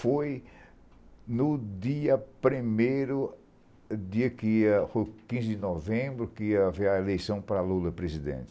Foi no dia primeiro, dia que é foi quinze de novembro, que ia haver a eleição para Lula presidente.